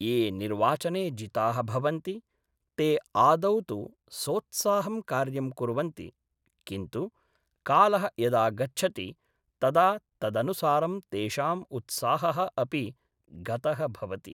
ये निर्वाचने जिताः भवन्ति ते आदौ तु सोत्साहं कार्यं कुर्वन्ति किन्तु कालः यदा गच्छति तदा तदनुसारं तेषाम् उत्साहः अपि गतः भवति